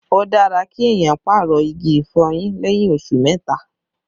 Ó dára kí èèyàn pàrọ̀ igi ìfọyín lẹ́yìn oṣù mẹ́ta